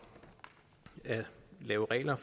at lave regler